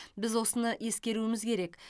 біз осыны ескеруіміз керек